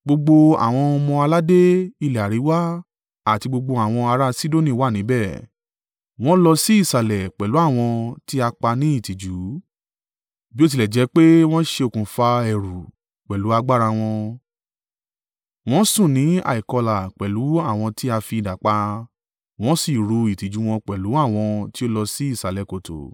“Gbogbo àwọn ọmọ-aládé ilẹ̀ àríwá àti gbogbo àwọn ará Sidoni wà níbẹ̀; wọn lọ sí ìsàlẹ̀ pẹ̀lú àwọn tí a pa ní ìtìjú, bí ó tilẹ̀ jẹ́ pé wọn ṣe okùnfà ẹ̀rù pẹ̀lú agbára wọn. Wọn sùn ní àìkọlà pẹ̀lú àwọn tí a fi idà pa, wọn sì ru ìtìjú wọn pẹ̀lú àwọn tí ó lọ sí ìsàlẹ̀ kòtò.